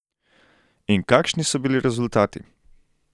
In kakšni so bili rezultati?